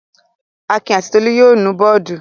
Akin àti Tolú yóò nu bọ́ọ́dù.